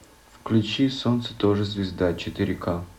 включи солнце тоже звезда четыре ка